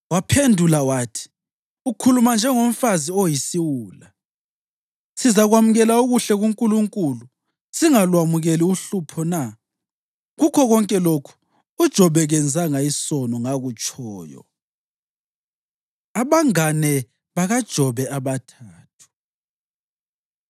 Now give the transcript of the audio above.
Wamphendula wathi, “Ukhuluma njengomfazi oyisiwula. Sizakwamukela okuhle kuNkulunkulu singalwamukeli uhlupho na?” Kukho konke lokhu uJobe kenzanga isono ngakutshoyo. Abangane BakaJobe Abathathu